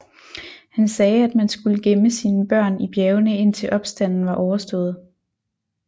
Han sagde at man skulle gemme sine børn i bjergene indtil opstanden var overstået